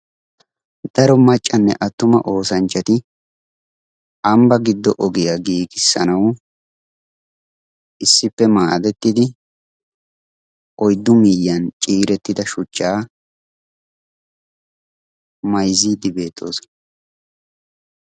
Daro maccanne attuma oosanchchati ambba giddo ogiya giigissanawu issippe maadettidi oyddu miyyiyan ciirettida shuchchaa mayzziiddi beettoosona.